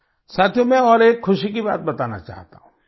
साथियो मैं और एक ख़ुशी की बात बताना चाहता हूँ